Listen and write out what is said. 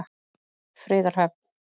Friðarhöfn